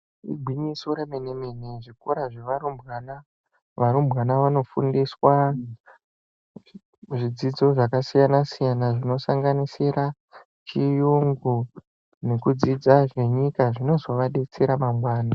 Igwinyiso remene mene zvikora zvearumbwana varumbwana vanofundiswa zvidzidzo zvakasiyana siyana zvinosanganisira chiyungu nekudzidza zvenyika zvinozovadetsera mangwani.